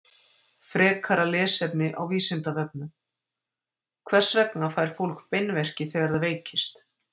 Frekara lesefni á Vísindavefnum: Hvers vegna fær fólk beinverki þegar það veikist?